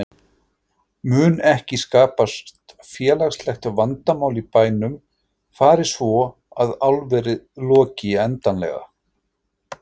Mun ekki skapast félagslegt vandamál í bænum fari svo að álverið loki endanlega?